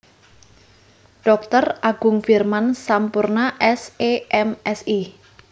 Dr Agung Firman Sampurna S E M Si